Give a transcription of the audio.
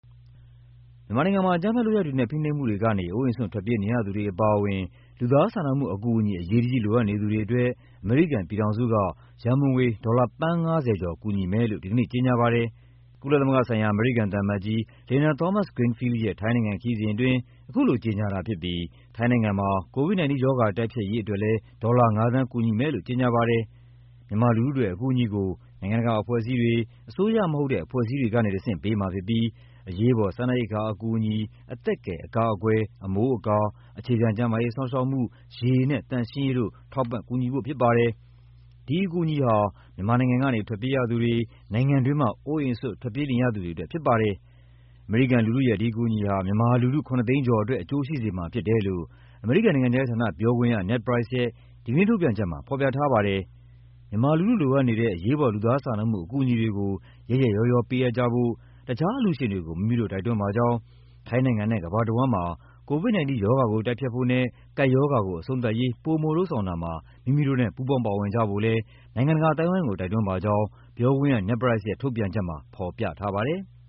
မြန်မာနိုင်ငံမှာ အကြမ်းဖက်လုပ်ရပ်တွေနဲ့ ဖိနှိပ်မှုတွေကနေ အိုးအိမ်စွန့် ထွက်ပြေးနေရသူတွေအပါအဝင် လူသားစာနာမှုအကူအညီ အရေးတကြီးလိုအပ်နေသူတွေအတွက် အမေရိကန်ပြည်ထောင်စုက ရန်ပုံငွေ ဒေါ်လာ သန်း ၅၀ ကျော် ကူညီမယ်လို့ ဒီကနေ့ကြေညာပါတယ်။ ကုလသမဂ္ဂဆိုင်ရာ အမေရိကန်သံအမတ်ကြီး Linda Thomas-Greenfield ရဲ့ ထိုင်းနိုင်ငံခရီးစဉ်အတွင်း အခုလိုကြေညာတာဖြစ်ပြီး ထိုင်းနိုင်ငံမှာ COVID-19 ရောဂါတိုက်ဖျက်ရေးအတွက် ဒေါ်လာ ၅ သန်းကူညီမယ်လို့ လည်း ကြေညာပါတယ်။ မြန်မာလူထုအတွက် အကူအညီကို နိုင်ငံတကာအဖွဲ့အစည်းတွေ၊ အစိုးရမဟုတ်တဲ့ အဖွဲ့အစည်းတွေကနေတဆင့် ပေးမှာဖြစ်ပြီး အရေးပေါ် စားနပ်ရိက္ခာအကူအညီ၊ အသက်ကယ် အကာအကွယ်၊ အမိုးအကာ၊ အခြေခံ ကျန်းမာရေးစောင့်ရှောက်မှု၊ ရေနဲ့ သန့်ရှင်းရေးတို့ ထောက်ပံ့ကူညီဖိုှ့ဖြစ်ပါတယ်။ ဒီအကူအညီဟာ မြန်မာနိုင်ငံကနေ ထွက်ပြေးရသူတွေ၊ နိုင်ငံတွင်းမှာ အိုးအိမ်စွန့် ထွက်ပြေးရသူတွေအတွက် ဖြစ်ပါတယ်။ အမေရိကန်လူထုရဲ့ ဒီအကူအညီဟာ မြန်မာလူထု ၇၀၀,၀၀၀ ကျော်အတွက် အကျိုးရှိစေမှာဖြစ်တယ်လို့ အမေရိကန်နိုင်ငံခြားရေးဌာနပြောခွင့်ရ Ned Price ရဲ့ ဒီကနေ့ထုတ်ပြန်ချက်မှာ ဖော်ပြထားပါတယ်။ မြန်မာလူထု လိုအပ်နေတဲ့ အရေးပေါ် လူသားစာနာမှုအကူအညီတွေကို ရက်ရက်ရောရော ပေးအပ်ကြဖို့ တခြားအလှူရှင်တွေကို မိမိတို့ တိုက်တွန်းပါကြောင်း၊ ထိုင်းနိုင်ငံနဲ့ ကမ္ဘာတဝန်းမှာ COVID-19 ရောဂါကို တိုက်ဖျက်ဖို့နဲ့ ကပ်ရောဂါကို အဆုံးသတ်ရေး ပိုမိုလုပ်ဆောင်တာမှာ မိမိတို့နဲ့ ပူးပေါင်းပါဝင်ကြဖို့လည်း နိုင်ငံတကာအသိုင်းအဝိုင်းကို တိုက်တွန်းပါကြောင်း ပြောခွင့်ရ Ned Price ရဲ့ ထုတ်ပြန်ချက်မှာ ဖော်ပြထားပါတယ်။